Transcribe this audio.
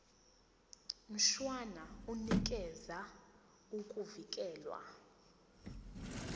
mshwana unikeza ukuvikelwa